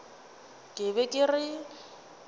ke be ke re ke